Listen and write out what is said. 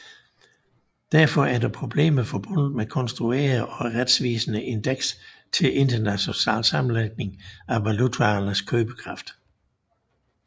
Derfor er der problemer forbundet med at konstruere et retvisende indeks til international sammenligning af valutaernes købekraft